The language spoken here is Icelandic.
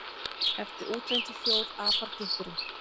Eftir útlendri þjóð apar gikkurinn.